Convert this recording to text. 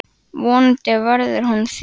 Vonandi verður hún þýdd.